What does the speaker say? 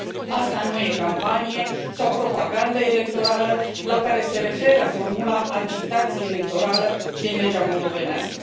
Asta nu este campanie sau propagandă electorală, la care se referă formula agitație electorală din legea moldovenească.